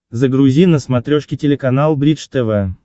загрузи на смотрешке телеканал бридж тв